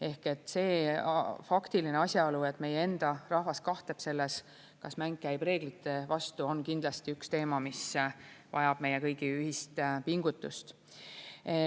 Ehk see faktiline asjaolu, et meie enda rahvas kahtleb selles, kas mäng käib reeglite vastu, on kindlasti üks teema, mis vajab meie kõigi ühist pingutust.